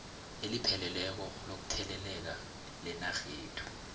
elipheleleko lokutheleleka lenarhethu